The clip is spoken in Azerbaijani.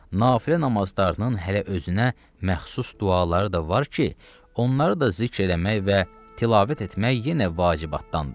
Nafilə namazlarının hələ özünə məxsus duaları da var ki, onları da zikr eləmək və tilavət etmək yenə vacibatdandır.